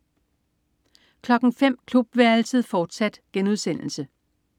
05.00 Klubværelset, fortsat*